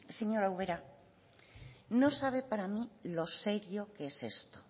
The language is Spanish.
señora ubera no sabe para mí lo serio que es esto